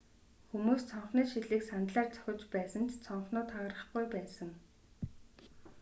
хүмүүс цонхны шилийг сандлаар цохиж байсан ч цонхнууд хагарахгүй байсан